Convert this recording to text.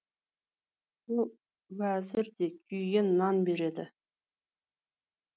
ол уәзір де күйген нан береді